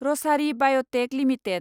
Rasari biotech limited